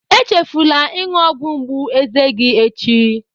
Echefula ịṅụ ọgwụ mgbu eze gị echi